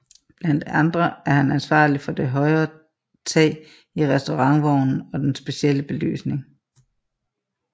Blandt andre er han ansvarlig for det høje tag i restaurantvognen og den specielle belysning